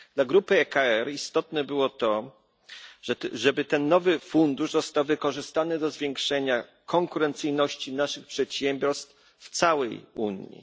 Dla grupy ECR istotne było to, aby ten nowy fundusz został wykorzystany do zwiększenia konkurencyjności naszych przedsiębiorstw w całej Unii.